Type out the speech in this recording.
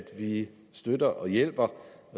vi støtter og hjælper